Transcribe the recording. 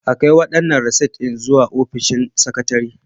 A kai waɗannan rasit ɗin zuwa ofishin sakatare.